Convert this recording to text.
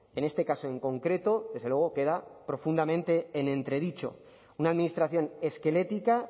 en este caso en concreto desde luego queda profundamente en entredicho una administración esquelética